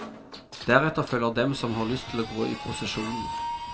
Deretter følger dem som har lyst til å gå i prosesjonen.